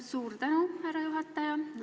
Suur tänu, härra juhataja!